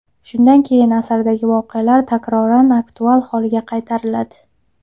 Shundan keyin asardagi voqealar takroran aktual holga qaytariladi.